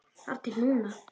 Þar til núna.